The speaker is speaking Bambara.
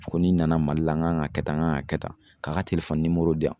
Ko ni n nana Mali la n kan ka kɛ tan n kan ka kɛ tan .Ka a ka di yan.